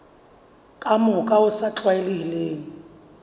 ka mokgwa o sa tlwaelehang